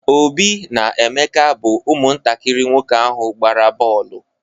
Obi na Emeka bụ ụmụntakiri nwoke ahụ gbara boolu.